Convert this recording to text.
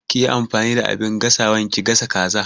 Kiyi amfani da abin gasawan ki gasa kaza